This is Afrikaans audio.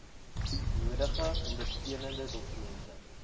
nodige ondersteunende dokumente